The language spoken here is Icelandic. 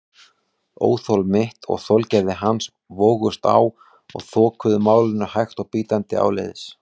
Óþol mitt og þolgæði hans vógust á og þokuðu málinu hægt og bítandi áleiðis.